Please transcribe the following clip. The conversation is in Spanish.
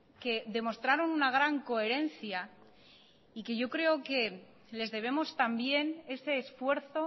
que demostraron una gran coherencia y que yo creo que les debemos también ese esfuerzo